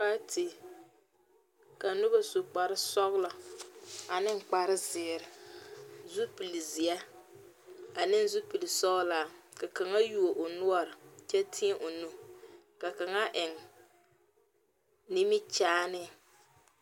Paate, ka noba su kpar sɔglɔ ane kpar ziire. Zupul zie ane zupul sɔglaa. Ka langa yuo o nuore kyɛ teɛ o nu. Ka kanga eŋ nimikyaane